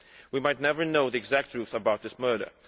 We might never know the exact truth about this murder.